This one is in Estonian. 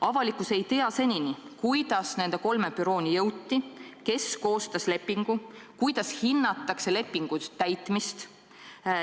Avalikkus ei tea senini, kuidas nende kolme bürooni jõuti, kes koostas lepingu, kuidas hinnatakse lepingu täitmist.